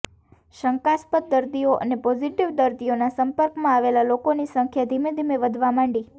શંકાસ્પદ દર્દીઓ અને પોઝીટીવ દર્દીઓના સંપર્કમાં આવેલા લોકોની સંખ્યા ધીમે ધીમે વધવા માંડી